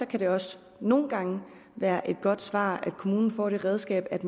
kan det også nogle gange være et godt svar at kommunen får det redskab at